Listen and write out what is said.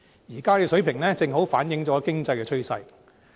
現在的水平，正好反映經濟的趨勢。